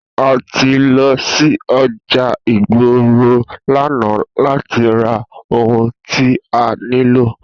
A ti lọ sí ọjà ìgboro l'ana láti ra ohun tí a nílò